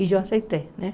E eu aceitei né.